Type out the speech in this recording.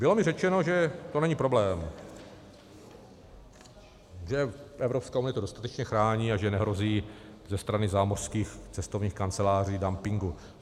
Bylo mi řečeno, že to není problém, že Evropská unie to dostatečně chrání a že nehrozí ze strany zámořských cestovních kanceláří dumping.